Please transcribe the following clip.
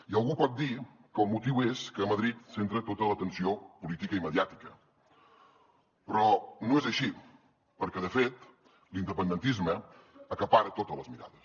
i algú pot dir que el motiu és que madrid centra tota l’atenció política i mediàtica però no és així perquè de fet l’independentisme acapara totes les mirades